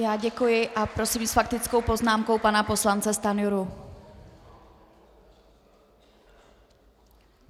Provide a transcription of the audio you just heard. Já děkuji a prosím s faktickou poznámkou pana poslance Stanjuru.